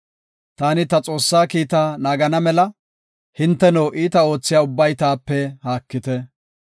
Taani ta Xoossaa kiita naagana mela, hinteno, iita oothiya ubbay taape haakite.